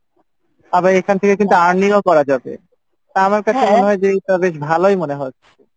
তারপরে এখান থেকে কিন্তু earning ও করা যাবে তো আমার কাছে মনে হয় যে এইটা বেশ ভালোই মনে হচ্ছে।